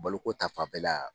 Baloko ta fan fɛla